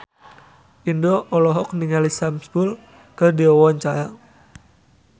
Indro olohok ningali Sam Spruell keur diwawancara